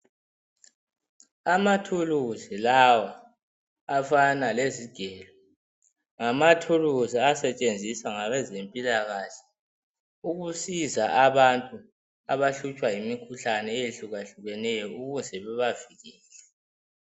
Amathuluzi lawa afana lezigelo, ngamathuluzi asetshenziswa ngabe zempilakahle ukusiza abantu abahlutshwa yimikhuhlane eyehluka hlukeneyo ukuze bebavikeleke.